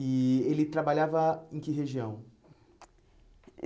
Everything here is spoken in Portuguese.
E ele trabalhava em que região?